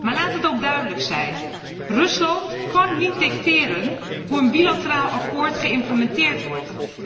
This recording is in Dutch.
Maar laat het ook duidelijk zijn Rusland kan niet dicteren hoe een bilateraal akkoord geïmplementeerd wordt.